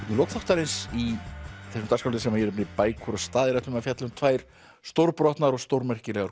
lok þáttarins í þeim dagskrárlið sem ég nefni bækur og staðir ætlum við að fjalla um tvær stórbrotnar og stórmerkilegar